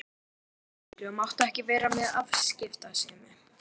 Ég var yngri og mátti ekki vera með afskiptasemi.